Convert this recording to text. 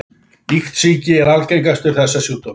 Iktsýki er algengastur þessara sjúkdóma.